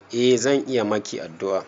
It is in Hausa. Eh zan iya maki addu'a.